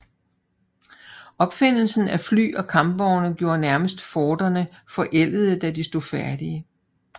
Opfindelsen af fly og kampvogne gjorde nærmest forterne forældede da de stod færdige